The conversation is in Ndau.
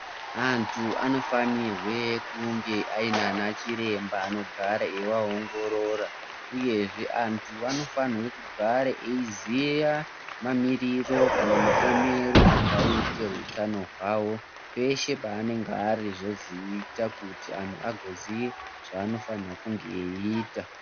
Antu anofanirwe kunge aina ana chiremba anogara eiangorora uyezve antu anofanirwe kugara eiziya mamiririro kana maemero akaite hutano hwavo peshe paanenge ari kuitira kuti antu azoziye zvanofana kunge eita .